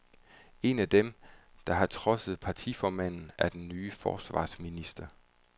En af dem, der har trodset partiformanden, er den nye forsvarsminister.